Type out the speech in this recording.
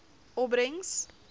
opbrengs